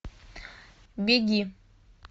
беги